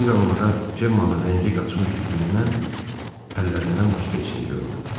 Bir anlığa Cemmanın rəngi qaçmış üzündən əllərindən başqa heç nə görmədi.